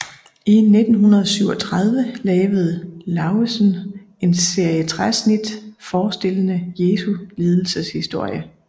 I 1937 lavede Lauesen en serie træsnit forestillende Jesu lidelseshistorie